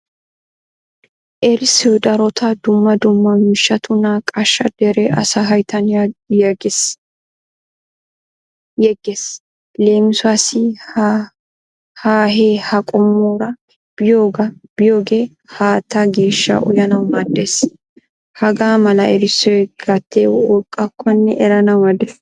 Erissoy darotto dumma dumma miishshatu naaqaasha dere asaa hayttan yeggees. Leemisuwasi hahee ha qommora beiyoge haataa geeshsha uyanawu maadees. Hagaa mala erissoy gatee woqqakkone eranawu maadees.